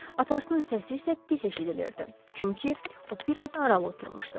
Atasının səsi isə pis eşidilirdi, çünki o biraz aralı oturmuşdu.